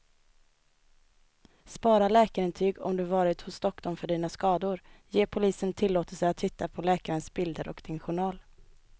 Spara läkarintyg om du varit hos doktorn för dina skador, ge polisen tillåtelse att titta på läkarens bilder och din journal.